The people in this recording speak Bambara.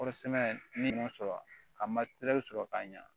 Kɔɔri sɛnɛ ni sɔrɔ a ma sɔrɔ ka ɲa